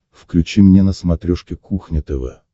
включи мне на смотрешке кухня тв